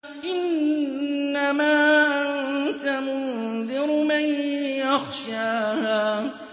إِنَّمَا أَنتَ مُنذِرُ مَن يَخْشَاهَا